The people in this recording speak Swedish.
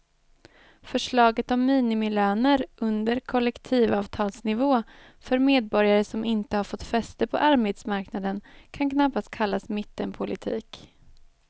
Förslaget om minimilöner under kollektivavtalsnivå för medborgare som inte har fått fäste på arbetsmarknaden kan knappast kallas mittenpolitik.